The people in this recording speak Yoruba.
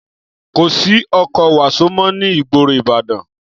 Kò sí ọkọ̀ wàsó mó ní ìgboro Ìbàdàn